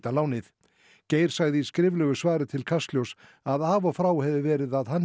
lánið Geir sagði í skriflegu svari til Kastljóss að af og frá hefði verið að hann